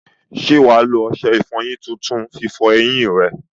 Ṣé wà á lo ọṣẹ ìfọyín tuntun fi fọ eyín rẹ?